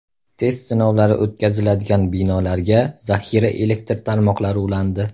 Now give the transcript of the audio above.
Test sinovlari o‘tkaziladigan binolarga zaxira elektr tarmoqlari ulandi.